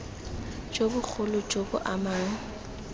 jo bogolo jo bo amang